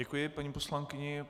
Děkuji paní poslankyni.